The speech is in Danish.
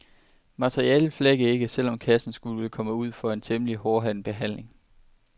Materialet flækker ikke, selv om kassen skulle komme ud for en temmelig hårdhændet behandling.